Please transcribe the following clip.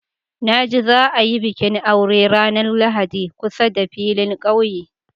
Na ji za a yi bikin aure ranar Lahadi kusa da filin ƙauye.